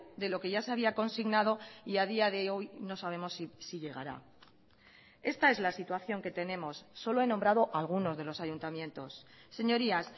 de lo que ya se había consignado y a día de hoy no sabemos si llegará esta es la situación que tenemos solo he nombrado algunos de los ayuntamientos señorías